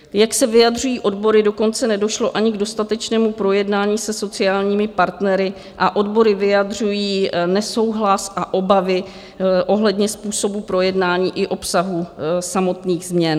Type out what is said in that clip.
Jak se vyjadřují odbory, dokonce nedošlo ani k dostatečnému projednání se sociálními partnery a odbory vyjadřují nesouhlas a obavy ohledně způsobu projednání i obsahu samotných změn.